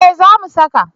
Eh za mu saka